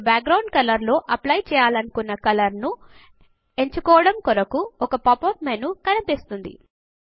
మీరు background లో apply చేయాలనుకున్న కలర్ ను ఎంచుకోవడము కొరకు ఒక పాప్ అప్ మెనూ కనిపిస్తుంది